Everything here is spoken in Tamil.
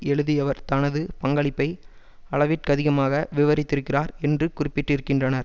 எழுதியவர் தனது பங்களிப்பை அளவிற்கதிகமாக விவரித்திருக்கிறார் என்று குறிப்பிட்டிருக்கின்றனர்